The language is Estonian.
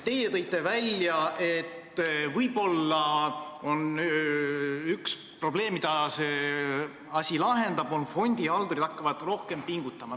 Teie tõite välja, et võib-olla siiski on üks probleem, mille see asi lahendab – see, et fondihaldurid hakkavad rohkem pingutama.